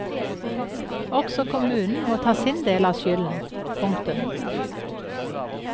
Også kommunen må ta sin del av skylden. punktum